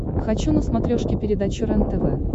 хочу на смотрешке передачу рентв